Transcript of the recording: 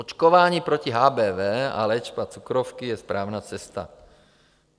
Očkování proti HBV a léčba cukrovky je správná cesta.